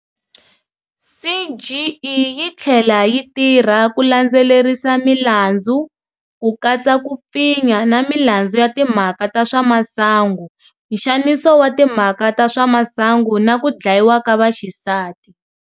CGE yi tlhela yi tirha ku landzelerisa milandzu, ku katsa ku pfinya na milandzu ya timhaka ta swa masangu, nxaniso wa timhaka ta swa masangu na ku dlayiwa ka vaxisati.